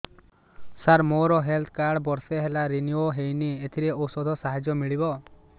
ସାର ମୋର health card ବର୍ଷେ ହେଲା ରିନିଓ ହେଇନି ଏଥିରେ ଔଷଧ ସାହାଯ୍ୟ ମିଳିବ